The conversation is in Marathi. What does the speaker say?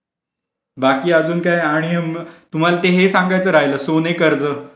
बाकी अजून काय आणि तुम्हाला ते हे सांगायचं राहिलं सोने कर्ज.